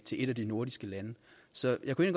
et af de nordiske lande så jeg kunne